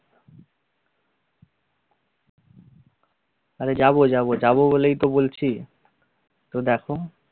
আরে যাবো যাবো যাব বলেই তো বলছি তো দেখো